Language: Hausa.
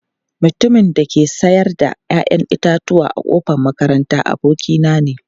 Mutumin da yake sayar da 'ya'yan itatuwa a kofar makaranta, abokina ne.